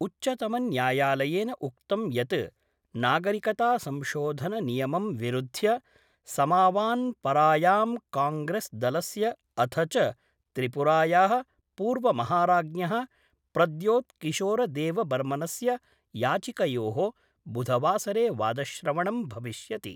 उच्चतमन्यायालयेन उक्तं यत् नागरिकतासंशोधननियमम् विरुध्य समावान् परायाम् कांग्रेसदलस्य अथ च त्रिपुराया पूर्वमहाराज्ञ: प्रद्योत् किशोरदेवबर्मनस्य याचिकयो: बुधवासरे वादश्रवणं भविष्यति।